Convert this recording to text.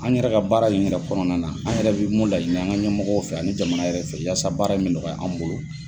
An yɛrɛ ka baara in yɛrɛ kɔnɔna na an yɛrɛ bi mun laɲini an ka ɲɛmɔgɔw fɛ ani jamana yɛrɛ fɛ yasa baara in me nɔgɔya an bolo.